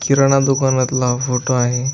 किराणा दुकानातला हा फोटो आहे.